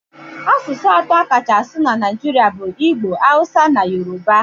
Asụsụ atọ a kacha asụ na Naịjirịa bụ igbo, hawusa na yoruba.